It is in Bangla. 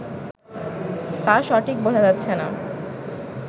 তা সঠিক বোঝা যাচ্ছে না